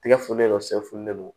Tɛgɛ funu don sɛfulen don